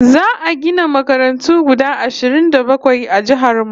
Za'a gina makarantu guda ashirin da bakwai a jihar mu